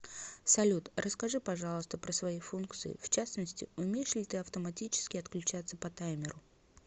салют расскажи пожалуйста про свои функции в частности умеешь ли ты автоматически отключаться по таймеру